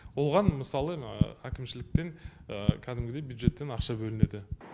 оған мысалы әкімшіліктен кәдімгідей бюджеттен ақша бөлінеді